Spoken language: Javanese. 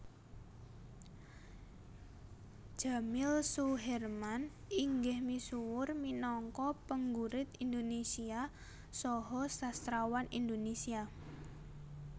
Djamil Soeherman inggih misuwur minangka penggurit Indonesia saha sastrawan Indonesia